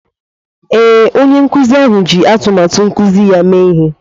Ee, onye nkuzi ji atụmatụ nkuzi ya mee ihe